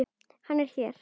Hann er hér.